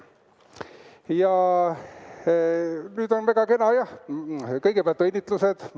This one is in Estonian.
Ja nüüd on, väga kena, kõigepealt õnnitlused.